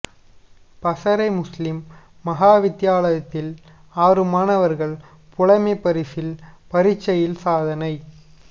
Passara Muslim மகா வித்தியாலயத்தில் ஆறு மாணவர்கள் புலமைப்பரிசில் பரீட்சையில் சாதனை